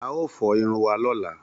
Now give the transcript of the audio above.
A ó fọ irun wa lọ́la.